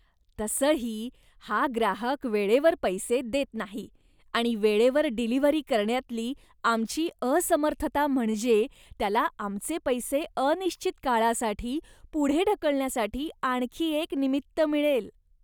तसंही, हा ग्राहक वेळेवर पैसे देत नाही आणि वेळेवर डिलिव्हरी करण्यातली आमची असमर्थता म्हणजे त्याला आमचे पैसे अनिश्चित काळासाठी पुढे ढकलण्यासाठी आणखी एक निमित्त मिळेल.